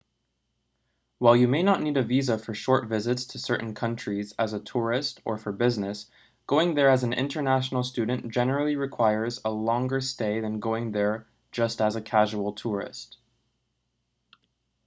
while you may not need a visa for short visits to certain countries as a tourist or for business going there as an international student generally requires a longer stay than going there just as a casual tourist